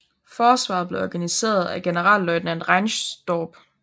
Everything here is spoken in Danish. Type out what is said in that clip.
Forsvaret blev organiseret af generalløjtnant Reinsdorp